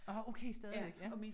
Åh okay stadigvæk ja